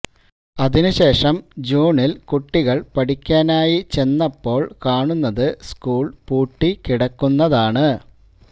അതിനുശേഷം ജൂണില് കുട്ടികള് പഠിക്കാനായി ചെന്നപ്പോള് കാണുന്നത് സ്കൂള് പൂട്ടി കിടക്കുന്നതാണ്